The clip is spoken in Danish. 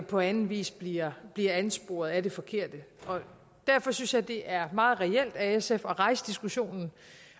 på anden vis bliver ansporet af det forkerte derfor synes jeg det er meget reelt af sf at rejse diskussionen